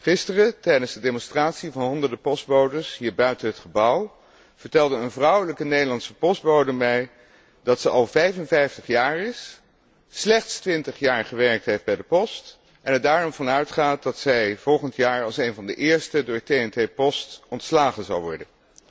Gisteren, tijdens de demonstratie van honderden postbodes hier buiten het gebouw, vertelde een vrouwelijke Nederlandse postbode mij dat ze al 55 jaar is, slechts 20 jaar gewerkt heeft bij de post en er daarom van uitgaat dat zij volgend jaar als een van de eersten door TNT post ontslagen zal worden.